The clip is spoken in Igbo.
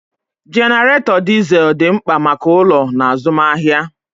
Jenaretó dizel dị mkpa maka ụlọ na azụmahịa.